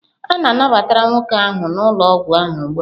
A nabatara nwoke ahụ n'ụlọ ọgwụ ahụ ugbu a.